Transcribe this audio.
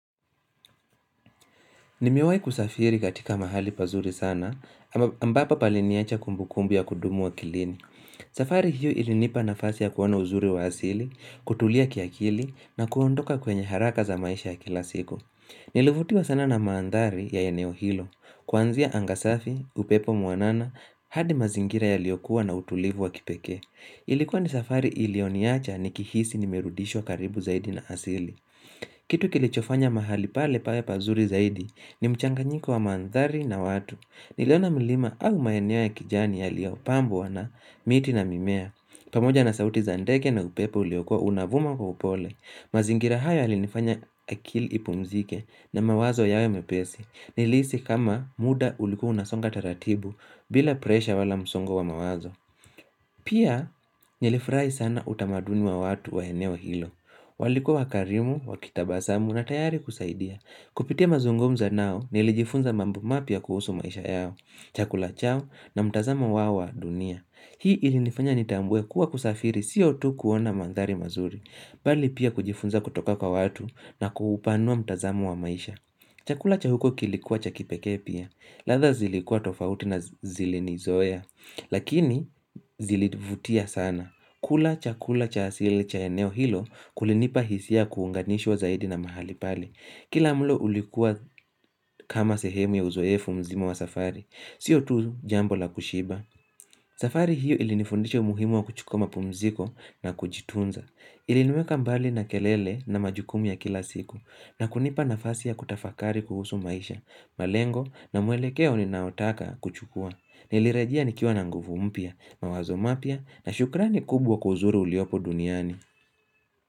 Nimewahi kusafiri katika mahali pazuri sana, ambapo paliniachia kumbukumbu ya kudumu akilini. Safari hiyo ilinipa nafasi ya kuona uzuri wa asili, kutulia kiakili, na kuondoka kwenye haraka za maisha ya kila siku. Nilivutiwa sana na mandhari ya eneo hilo. Kuanzia anga safi, upepo mwanana, hadi mazingira yaliyokuwa na utulivu wa kipekee. Ilikuwa ni safari ilioniacha nikihisi nimerudishwa karibu zaidi na asili. Kitu kilichofanya mahali pale pawe pazuri zaidi ni mchanganyiko wa mandhari na watu. Niliona milima au maeneo ya kijani yaliyopambwa na miti na mimea. Pamoja na sauti za ndege na upepo uliokua unavuma kwa upole. Mazingira haya yalinifanya akili ipumzike na mawazo yawe mepesi. Nilihisi kama muda ulikuwa unasonga taratibu bila presha wala msongo wa mawazo. Pia nilifurahi sana utamaduni wa watu wa eneo hilo. Walikuwa wakarimu, wakitabasamu na tayari kusaidia Kupitia mazungumzo nao nilijifunza mambo mapya kuhusu maisha yao Chakula chao na mtazamo wao wa dunia Hii ilinifanya nitambue kuwa kusafiri sio tu kuona mandhari mazuri Bali pia kujifunza kutoka kwa watu na kuupanua mtazamo wa maisha Chakula cha huko kilikuwa cha kipekee pia ladha zilikua tofauti na zilinizoea Lakini zilinivutia sana kula chakula cha asili cha eneo hilo kulinipa hisia kuunganishwa zaidi na mahali pale. Kila mlo ulikua kama sehemu ya uzoefu mzima wa safari. Sio tu jambo la kushiba. Safari hiyo ilinifundisha umuhimu wa kuchukua mapumziko na kujitunza. Iliniweka mbali na kelele na majukumu ya kila siku. Na kunipa nafasi ya kutafakari kuhusu maisha. Malengo na mwelekeo ninaotaka kuchukua. Nilirejea nikiwa na nguvu mpya, mawazo mapya na shukrani kubwa kwa uzuri uliopo duniani.